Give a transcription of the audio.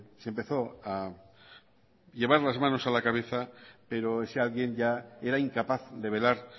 se empezó a llevar las manos a la cabeza pero ese alguien ya era incapaz de velar